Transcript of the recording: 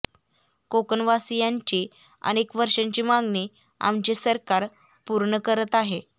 कोकणवासियांची अनेक वर्षांची मागणी आमचे सरकार पूर्ण करत आहे